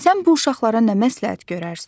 Sən bu uşaqlara nə məsləhət görərsən?